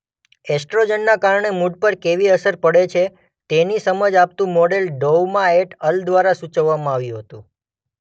એસ્ટ્રોજનના કારણે મૂડ પર કેવી અસર પડે છે તેની સમજ આપતું મોડેલ ડોઉમા એટ અલ દ્વારા સૂચવવામાં આવ્યું હતું.